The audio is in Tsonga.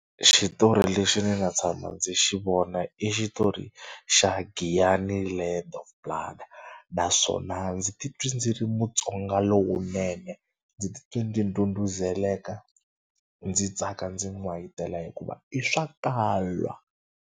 Xitori lexi ni nga tshama ndzi xi vona i xitori xa Giyani Land of Blood naswona ndzi titwe ndzi ri Mutsonga lowunene ndzi titwa ndzi ndhudhuzela ndzi tsaka ndzi n'wayitela hikuva i swa .